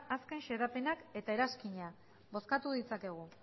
azken xedapenak eta eranskinak bozkatu ditzakegu